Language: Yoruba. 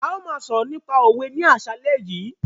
A máa sọ̀rọ̀ nípa òwe ní àsálẹ́ yìí.